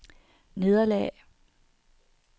nederlag